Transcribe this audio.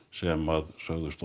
sem sögðust